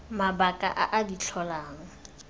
mabaka a a di tlholang